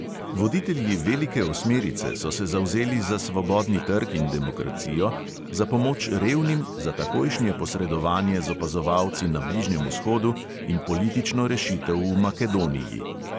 Voditelji velike osmerice so se zavzeli za svobodni trg in demokracijo, za pomoč revnim, za takojšnje posredovanje z opazovalci na bližnjem vzhodu in politično rešitev v makedoniji.